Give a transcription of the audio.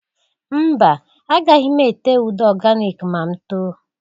Mba! Agaghị m ete ude oganik ma m too.